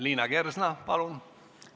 Liina Kersna, palun!